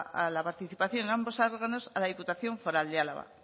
a la participación en ambos órganos a la diputación foral de álava